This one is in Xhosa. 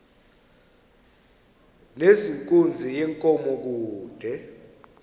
nezenkunzi yenkomo kude